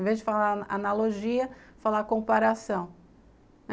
Em vez de falar analogia, falar comparação.